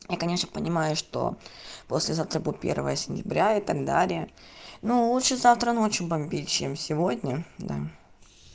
я конечно понимаю что послезавтра будет первое сентября и так далее ну лучше завтра ночью бомбить чем сегодня да